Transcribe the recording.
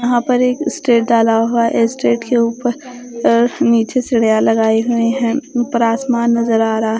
यहां पर एक स्टेट डाला हुआ है स्टेट के ऊपर अ नीचे सीढ़ियां लगाई हुई हैं ऊपर आसमान नजर आ रहा--